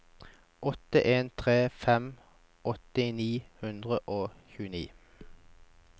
åtte en tre fem åtti ni hundre og tjueni